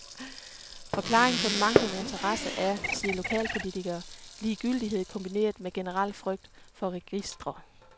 Forklaringen på den manglende interesse er, siger lokalpolitikere, ligegyldighed kombineret med generel frygt for registre.